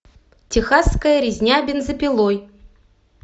техасская резня бензопилой